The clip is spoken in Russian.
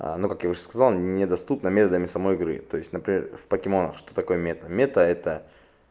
а ну как я уже сказал недоступна метами самой игры то есть например в покемонах что такое мета мета это